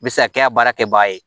U bɛ se ka kɛ a baara kɛbaga ye